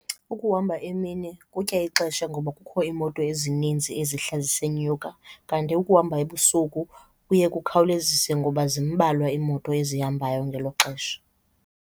Ukuhamba emini kutya ixesha ngoba kukho iimoto ezininzi ezihla zisenyuka kanti ukuhamba ebusuku kuye kukhawuleziswe ngoba zimbalwa iimoto ezihambayo ngelo xesha.